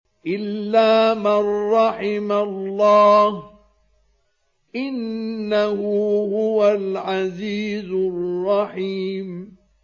إِلَّا مَن رَّحِمَ اللَّهُ ۚ إِنَّهُ هُوَ الْعَزِيزُ الرَّحِيمُ